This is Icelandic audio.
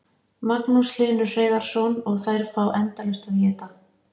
Magnús Hlynur Hreiðarsson: Og þær fá endalaust að éta?